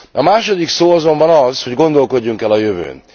A második szó azonban az, hogy gondolkodjunk el a jövőn.